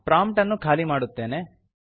prompt ಅನ್ನು ಖಾಲಿ ಮಾಡುತ್ತೇನೆ